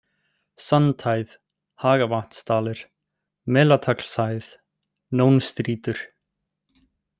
Sandhæð, Hagavatnadalir, Melataglshæð, Nónstrýtur